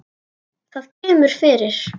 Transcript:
Það kemur fyrir.